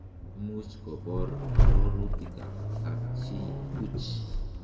Imuch kobor ororutikab kapchii buch